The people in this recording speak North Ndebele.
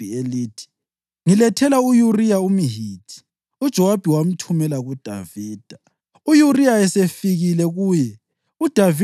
Ngakho uDavida wathumela ilizwi leli kuJowabi elithi: “Ngilethela u-Uriya umHithi.” UJowabi wamthumela kuDavida.